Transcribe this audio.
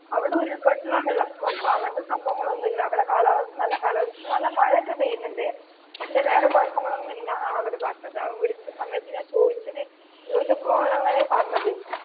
അവിടെ ഉരുൾ പൊട്ടല്ലോ വെള്ളപ്പൊക്കമോ അങ്ങനത്തെ സംഭവങ്ങളൊന്നുമില്ല. അവിടെ കാലാവസ്ഥാ നല്ല കാലാവസ്ഥായാ, പക്ഷെ നല്ല മഴയൊക്കെ പെയ്യുന്നുണ്ട്. പക്ഷെ വേറെ കുഴപ്പങ്ങലൊന്നും ഇല്ലന്നാണ് അവര് പറഞ്ഞത്. അവന് വിളിച്ച സമയത്തു ഞാൻ ചോയ്ച്ചത്, ചോയ്ച്ചപ്പോൾ ഓന് അങ്ങനെയായ പറഞ്ഞത്.